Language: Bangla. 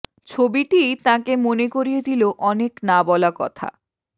ছবিটি তাঁকে মনে করিয়ে দিল অনেক না বলা কথা